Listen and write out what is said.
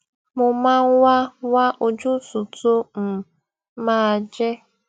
mo máa ń wá wá ojútùú tó um máa jẹ